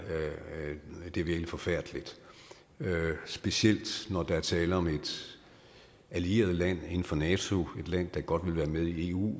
er virkelig forfærdeligt specielt når der er tale om et allieret land inden for nato et land der godt vil være med i eu